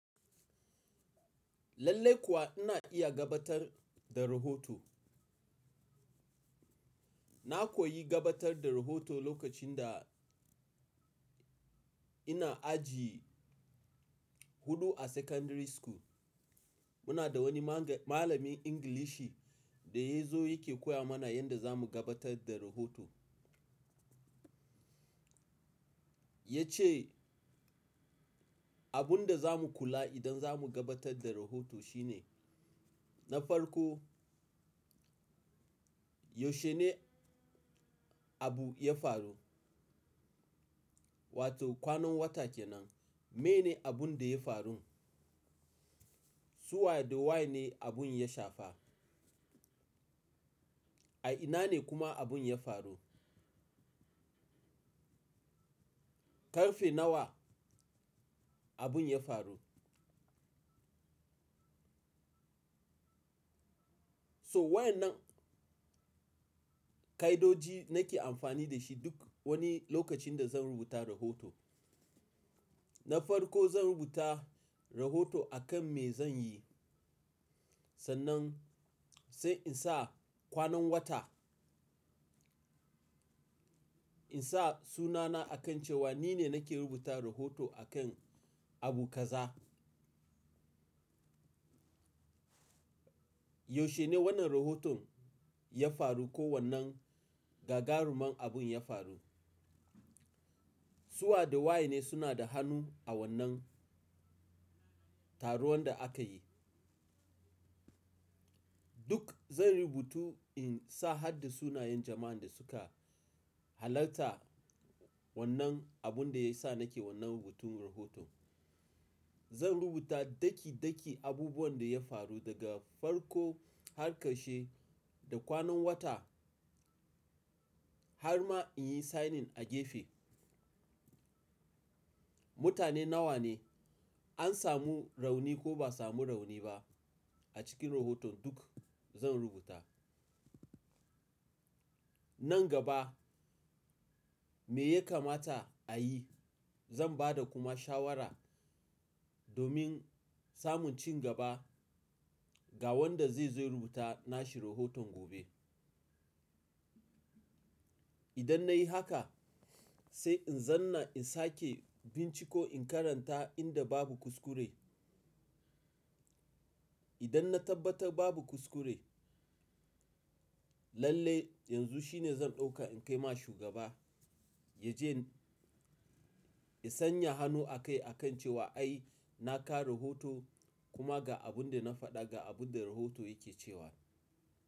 Lallai kuwa ina iya gabatar da rahoto. Na koyi gabatar da rahoto lokacin da ina aji huɗu a secondary school. Muna da wani malamin Ingilishi da ya zo yake koya mana yadda zamu gabatar da rahoto. Ya ce abun da za mu kula idan za mu gabatar da rahoto shine na farko, yaushe ne abu ya faru? Wato kwanan wata kenan. Me ne abun da ya faru? Su wa da wa ne abun ya shafa? A ina ne kuma abun ya faru? Karfe nawa abun ya faru? So wayannan ka'idoji nake amfani da shi duk wani lokacin da zan rubuta rahoto. Na farko zan rubuta rahoto a kan me zan yi sannan sai in sa kwanan wata. In sa sunana a kan cewa ni ne nake rubuta rahoto a kan abu kaza. Yaushe ne wannan rahoton ya faru ko wannan gagaruman abun ya faru? Su wa da wa ne suna da hannu a wannan taruwan da aka yi? Duk zanyi rubutu in sa harda sunayen jama'an da suka halarta wannan abun da ya sa nake wannan rubutun rahoton. Zan rubuta daki daki abubuwan da ya faru daga farko har ƙarshe, da kwanan wata har ma in yi signing a gefe. Mutane nawa ne? An samu rauni ko ba samu rauni ba a cikin rahoton? Duk zan rubuta. Nan gaba me ya kamata a yi? Zan ba da kuma shawara domin samun cingaba ga wanda zai zai rubuta nashe rahoton gobe. Idan na yi haka sai in zanna in sake binciko in karanta inda babu kuskure. Idan na tabbatar babu kuskure, lallai yanzu shine zan ɗauka in kai ma shugaba ya je ya sanya hannu akai a kan cewa ai na kawo rahoto kuma ga abun da na faɗa ga abun da rahoto yake cewa.